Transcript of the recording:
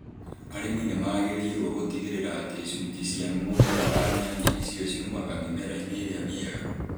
Arĩmi nĩ magĩrĩirũo gũtigĩrĩra atĩ icunjĩ cia mũmera wa nyanya icio ciumaga mĩmera-inĩ ĩrĩa mĩega.